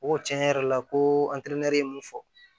O ko tiɲɛ yɛrɛ la ko ye mun fɔ